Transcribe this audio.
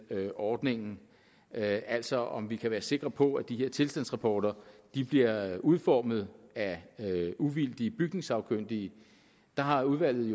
ordningen altså om vi kan være sikre på at de her tilstandsrapporter bliver udformet af uvildige byggesagkyndige har udvalget